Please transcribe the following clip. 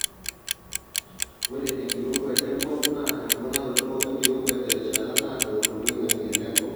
Ore enkirowuaj enkop naa emponaroto enkirowuaj terishata naaado toloingange lenkop.